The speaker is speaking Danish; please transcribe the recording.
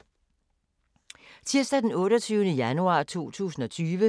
Tirsdag d. 28. januar 2020